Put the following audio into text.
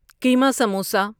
کیما samosa